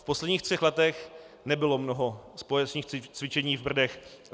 V posledních třech letech nebylo mnoho společných cvičení v Brdech.